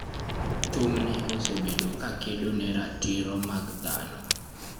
Thumne osebedo kakedo ne ratiro mag dhano.